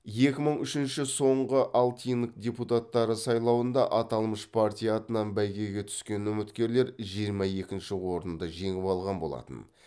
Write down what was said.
екі мың үшінші соңғы алтинг депутаттары сайлауында аталмыш партия атынан бәйгеге түскен үміткерлер жиырма екінші орынды жеңіп алған болатын